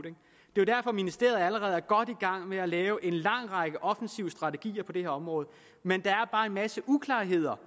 det er derfor at ministeriet allerede er godt i gang med at lave en lang række offensive strategier på det her område men der er bare en masse uklarheder